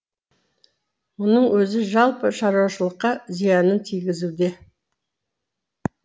мұның өзі жалпы шаруашылықа зиянын тигізуде